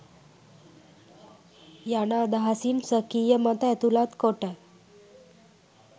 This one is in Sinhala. යන අදහසින් ස්වකීය මත ඇතුළත් කොට